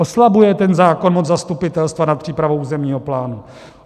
Oslabuje ten zákon moc zastupitelstva nad přípravou územního plánu.